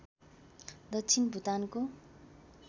दक्षिण भुटानको